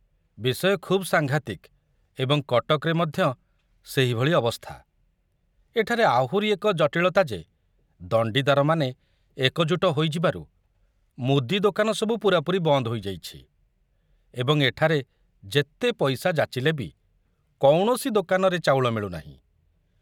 ବିଷୟ ଖୁବ ସାଂଘାତିକ ଏବଂ କଟକରେ ମଧ୍ୟ ସେହିଭଳି ଅବସ୍ଥା, ଏଠାରେ ଆହୁରି ଏକ ଜଟିଳତା ଯେ ଦଣ୍ଡିଦାରମାନେ ଏକଜୁଟ ହୋଇଯିବାରୁ ମୁଦି ଦୋକାନ ସବୁ ପୂରାପୂରି ବନ୍ଦ ହୋଇଯାଇଛି ଏବଂ ଏଠାରେ ଯେତେ ପଇସା ଯାଚିଲେ ବି କୌଣସି ଦୋକାନରେ ଚାଉଳ ମିଳୁନାହିଁ।